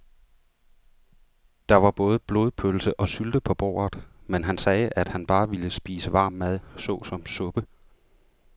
Der var både blodpølse og sylte på bordet, men han sagde, at han bare ville spise varm mad såsom suppe.